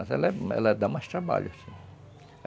Mas ela ela dá mais trabalho, sim.